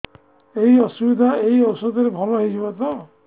ଏଇ ଅସୁବିଧା ଏଇ ଔଷଧ ରେ ଭଲ ହେଇଯିବ ତ